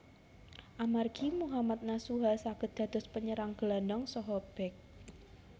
Amargi Mohammad Nasuha saged dados penyerang gelandang saha bek